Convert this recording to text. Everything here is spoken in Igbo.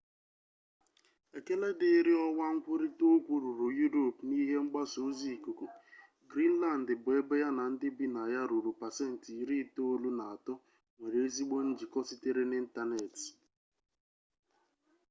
ekele dịrị ọwa nkwurita okwu ruru yuropu na ihe mgbasa ozi ikuku grinlandị bụ ebe ya na ndị bi na ya ruru pasenti iri itoolu na atọ nwere ezigbo njikọ sitere n'ịntanetị